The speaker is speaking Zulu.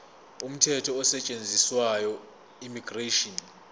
umthetho osetshenziswayo immigration